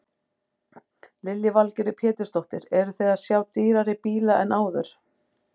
Lillý Valgerður Pétursdóttir: Eruð þið að sjá dýrari bíla en áður?